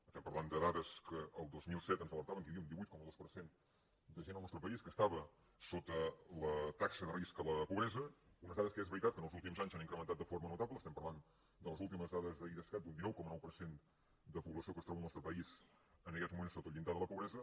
estem parlant de dades que el dos mil set ens alertaven que hi havia un divuit coma dos per cent de gent al nostre país que estava sota la taxa de risc de la pobresa unes dades que és veritat que els últims anys s’han incrementat de forma notable estem parlant de les últimes dades d’idescat d’un dinou coma nou per cent de població que es troba al nostre país en aquests moments sota el llindar de la pobresa